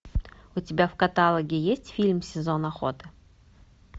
у тебя в каталоге есть фильм сезон охоты